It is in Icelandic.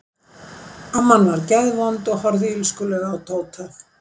Amman var geðvond og horfði illskulega á Tóta.